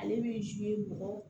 Ale bɛ ji bɔ